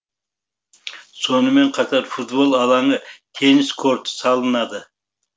сонымен қатар футбол алаңы теннис корты салынады